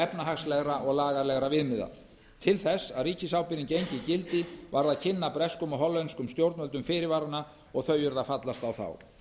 efnahagslegra og lagalegra viðmiða til þess að ríkisábyrgðin gengi í gildi varð að kynna breskum og hollenskum stjórnvöldum fyrirvarana og þau urðu að fallast á þá